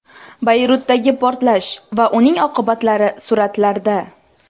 Bayrutdagi portlash va uning oqibatlari suratlarda.